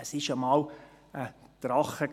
Es war einmal ein Drache.